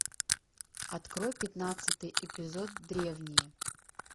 открой пятнадцатый эпизод древние